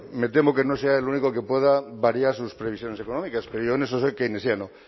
me temo que no será el único que pueda variar sus previsiones económicas pero yo en eso soy keynesiano